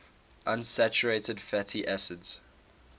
unsaturated fatty acids